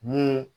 Ni